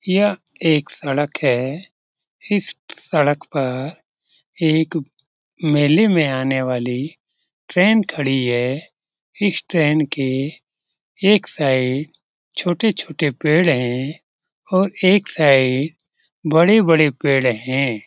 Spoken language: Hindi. यह एक सड़क है । इस सड़क पर एक मेले में आने वाली ट्रेन खड़ी है । इस ट्रेन के एक साइड छोटे-छोटे पेड़ हैं और एक साइड बड़े-बड़े पेड़ हैं ।